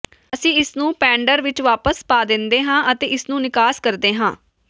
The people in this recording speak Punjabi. ਅਸੀਂ ਇਸਨੂੰ ਪੈਨਡਰ ਵਿਚ ਵਾਪਸ ਪਾ ਦਿੰਦੇ ਹਾਂ ਅਤੇ ਇਸ ਨੂੰ ਨਿਕਾਸ ਕਰਦੇ ਹਾਂ